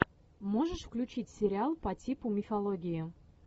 можешь включить сериал по типу мифологии